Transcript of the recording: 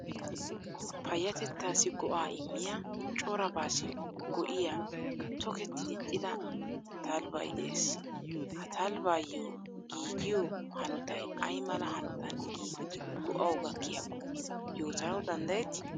Payyatettaassi go'aa immiyaa corabaassi go"iyaa toketti diccida talebbay de'ees. Ha talebayyo giigiyo hanotay ay mala hanotan gigidi go"awu gakkiyaakko yootanawu dandayetti?